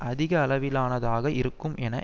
அதிகளவிலானதாக இருக்கும் என